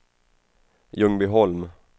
Ljungbyholm